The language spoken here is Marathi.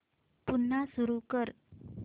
पुन्हा सुरू कर